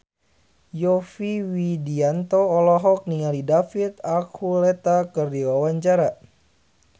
Yovie Widianto olohok ningali David Archuletta keur diwawancara